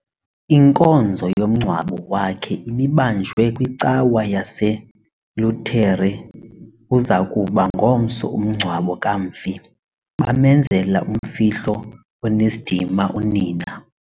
Inkonzo yomngcwabo wakhe ibibanjelwe kwicawa yaseLutere. uza kuba ngomso umngcwabo kamfi, bamenzela umfihlo onesidima unina